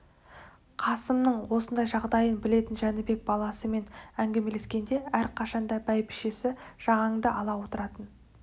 қасымның осындай жағдайын білетін жәнібек баласымен әңгімелескенде әрқашанда бәйбішесі жағанды ала отыратын